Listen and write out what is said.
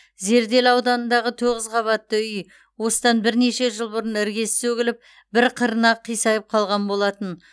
зерделі ауданындағы тоғыз қабатты үй осыдан бірнеше жыл бұрын іргесі сөгіліп бір қырына қисайып қалған болатын